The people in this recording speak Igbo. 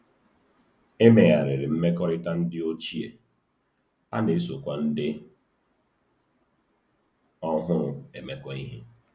E megharịrị mmekọrịta ndị ochie, a na-esokwa ndị ọhụrụ emekọ ihe.